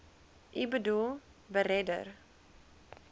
u boedel beredder